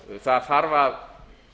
það þarf að